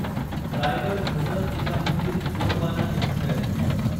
Raigad Hazrat Nizamuddin Gondwana Express